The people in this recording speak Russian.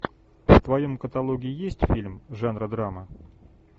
в твоем каталоге есть фильм жанра драма